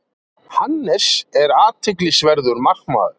Hannes er athyglisverður markmaður.